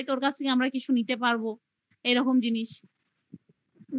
তোর কাছ থেকে আমরা কিছু নিতে পারবো. এরকম জিনিস